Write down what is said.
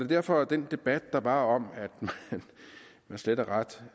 derfor at den debat der var om at man slet og ret